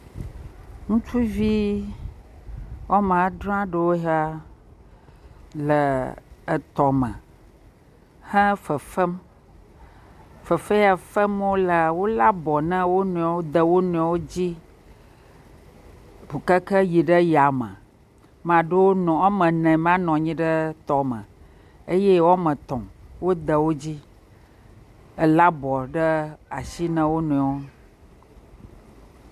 Ŋutsuvi woame adre aɖewo ya le etɔme he fefem. Fefe ya fem wolea, wolé abɔ na wo nɔewo de wo nrɔewo dzi kaka yi ɖe yame. Ma ɖewo nɔ, woame ene ma nɔ nyi ɖe tɔme eye woame tɔ̃ wode wodzi. Elé abɔ na ashi na wo nɔewo.